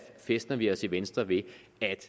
fæstner vi os i venstre ved at